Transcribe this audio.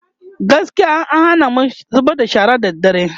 gaskiya an Hana mu zubar da shara da dare